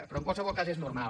però en qualsevol cas és normal